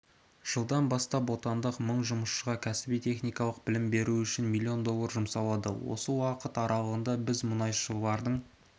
жылдан бастап отандық мың жұмысшыға кәсіби-техникалық білім беру үшін млн доллар жұмсалды осы уақыт аралығында бізмұнайшылардың